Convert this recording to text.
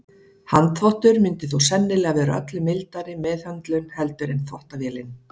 Handþvottur myndi þó sennilega vera öllu mildari meðhöndlun heldur en þvottavélin.